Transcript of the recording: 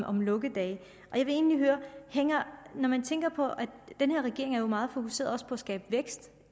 om lukkedage når man tænker på at den her regering er meget fokuseret på også at skabe vækst